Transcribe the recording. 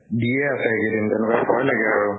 দিয়ে আছে এই কেইদিন, তেনেকুৱা ভয় লাগে আৰু।